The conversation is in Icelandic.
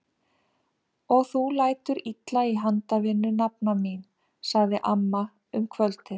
Og þú lætur illa í handavinnu nafna mín! sagði amma um kvöldið.